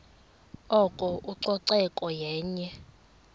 oko ucoceko yenye